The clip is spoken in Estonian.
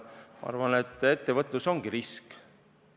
Ma arvan, et ettevõtlus ongi risk.